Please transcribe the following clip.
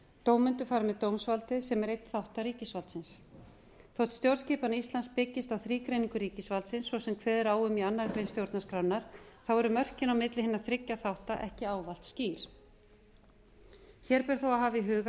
dómendur fara með dómsvaldið sem er einn þátta ríkisvaldsins þótt stjórnskipan íslands byggist á þrígreiningu ríkisvaldsins svo sem kveður á um í annarri grein stjórnarskrárinnar eru mörkin á milli hinna þriggja þátta ekki ávallt skýr hér ber þó að hafa í huga